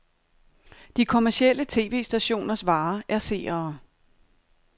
De kommercielle tv-stationers vare er seere.